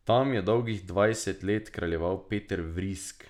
Tam je dolgih dvajset let kraljeval Peter Vrisk.